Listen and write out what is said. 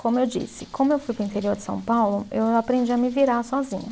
Como eu disse, como eu fui para o interior de São Paulo, eu aprendi a me virar sozinha.